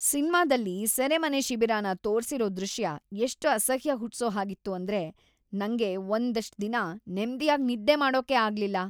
ಸಿನ್ಮಾದಲ್ಲಿ ಸೆರೆಮನೆ ಶಿಬಿರನ ತೋರ್ಸಿರೋ ದೃಶ್ಯ ಎಷ್ಟ್‌ ಅಸಹ್ಯ ಹುಟ್ಸೋಹಾಗಿತ್ತು ಅಂದ್ರೆ ನಂಗೆ ಒಂದಷ್ಟ್‌ ದಿನ ನೆಮ್ದಿಯಾಗಿ ನಿದ್ದೆ ಮಾಡೋಕೇ ಆಗ್ಲಿಲ್ಲ.